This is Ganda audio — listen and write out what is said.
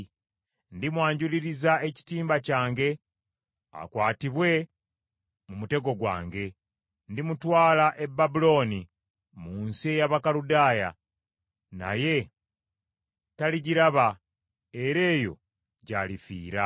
Ndimwanjuliriza ekitimba kyange, akwatibwe mu mutego gwange. Ndimutwala e Babulooni, mu nsi ey’Abakaludaaya, naye taligiraba, era eyo gy’alifiira.